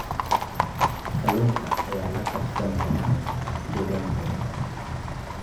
Kalluunka ayaa la qabsan kara deegaankooda.